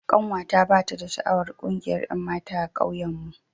Kanwata bata da sha'awar kungiyar 'yanmata a ƙauyen mu.